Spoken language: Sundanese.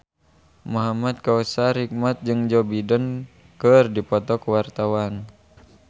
Muhamad Kautsar Hikmat jeung Joe Biden keur dipoto ku wartawan